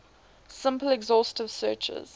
simple exhaustive searches